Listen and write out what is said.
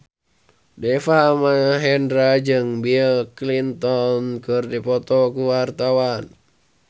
Deva Mahendra jeung Bill Clinton keur dipoto ku wartawan